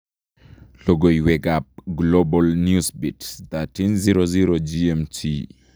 Lokoyweekab Global Newsbeat 1300 GMT